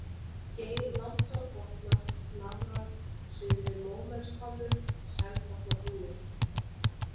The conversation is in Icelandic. Geirlandsárbotnar, Nafrar, Syðri-Mómelshvammur, Selbotnabrúnir